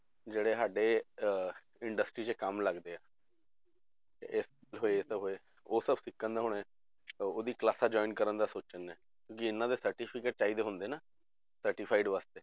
ਜਿਹੜੇ ਸਾਡੇ ਅਹ industry 'ਚ ਕੰਮ ਲੱਗਦੇ ਹੈ ਇਹ ਹੋਏ ਤਾਂ ਹੋਏ ਉਹ ਸਭ ਸਿੱਖਣ ਦਾ ਹੁਣ, ਉਹਦੀ classes join ਕਰਨ ਦਾ ਸੋਚਣ ਡਿਆ, ਕਿ ਇਹਨਾਂ ਦੇ certificate ਚਾਹੀਦੇ ਹੁੰਦੇ ਨਾ certified ਵਾਸਤੇ